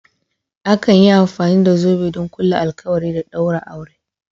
Akan yi amfani da zobe don ƙulla alkawari da ɗaura aure.